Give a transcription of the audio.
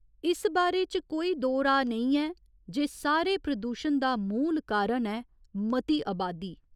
इस बारै च कोई दो राऽ नेईं न जे इस सारे प्रदूशण दा मूल कारण ऐ मती अबादी।